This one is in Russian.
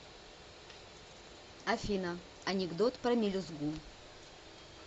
афина анекдот про мелюзгу